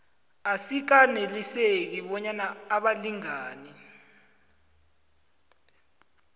asikaneliseki bonyana abalingani